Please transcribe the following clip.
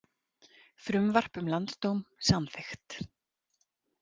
Frumvarp um landsdóm samþykkt